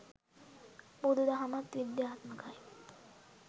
බුදු දහමත් විද්‍යාත්මකයි